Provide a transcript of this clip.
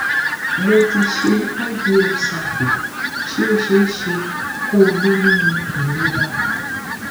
mo ti se ivf cycle ṣé ó ṣeé ṣe kó o lóyún ilera